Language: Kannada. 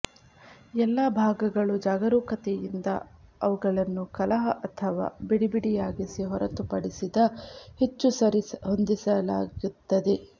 ಎಲ್ಲಾ ಭಾಗಗಳು ಜಾಗರೂಕತೆಯಿಂದ ಅವುಗಳನ್ನು ಕಲಹ ಅಥವಾ ಬಿಡಿಬಿಡಿಯಾಗಿಸಿ ಹೊರತುಪಡಿಸಿದ ಹೆಚ್ಚು ಸರಿಹೊಂದಿಸಲಾಗುತ್ತದೆ